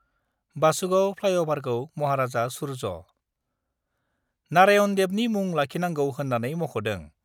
बासुगाव फ्लाइअभारखौ महाराजा सुर्य . नारायन देबनि मुं लाखिनांगौ होन्नानै मख'दों।